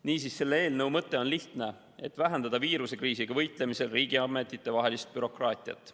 Niisiis, selle eelnõu mõte on lihtne: vähendada viirusekriisiga võitlemisel riigiametitevahelist bürokraatiat.